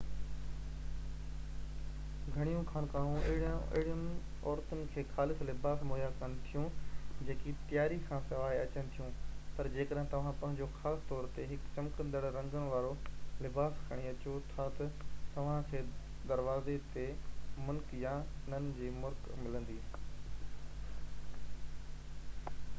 گهڻيون خانقاهون اهڙين عورتن کي خاص لباس مهيا ڪن ٿيون جيڪي تياري کانسواءِ اچن ٿيون پر جيڪڏهن توهان پنهنجو خاص طور تي هڪ چمڪندڙ رنگن وارو لباس کڻي اچو ٿا تہ توهان کي دروازي تي منڪ يا نن جي مرڪ ملندي